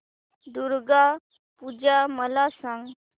दुर्गा पूजा मला सांग